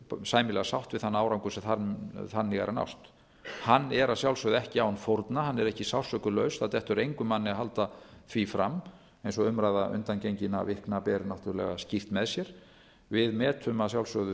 sæmilega sátt við þann árangur sem þannig er að nást hann er að sjálfsögð ekki án fórna hann er ekki sársaukalaus það dettur engum manni í hug að halda því fram eins og umræða undangenginna vikna ber náttúrlega skýrt með sér við metum að sjálfsögðu